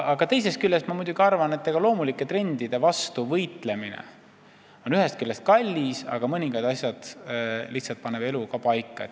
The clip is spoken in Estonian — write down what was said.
Aga teisest küljest, kuigi loomulike trendide vastu võitlemine on kallis, paneb elu ise lihtsalt mõningad asjad paika.